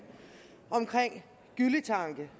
om gylletanke